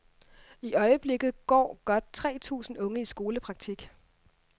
I øjeblikket går godt tre tusind unge i skolepraktik.